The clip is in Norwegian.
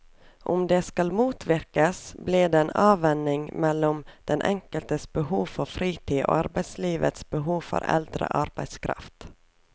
Om det skal motvirkes, blir en avveining mellom den enkeltes behov for fritid og arbeidslivets behov for eldre arbeidskraft.